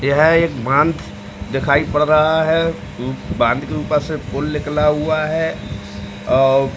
यह एक बांध दिखाई पड़ रहा है। बाँध के ऊपर से पुल निकला हुआ है। अ --